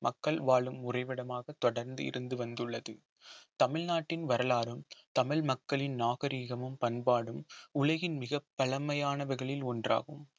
மக்கள் வாழும் உறைவிடமாக தொடர்ந்து இருந்து வந்துள்ளது தமிழ்நாட்டின் வரலாறும் தமிழ் மக்களின் நாகரிகமும் பண்பாடும் உலகின் மிகப் பழமையானவர்களில் ஒன்றாகும்